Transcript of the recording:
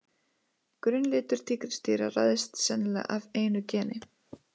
Grunnlitur tígrisdýra ræðst sennilega af einu geni.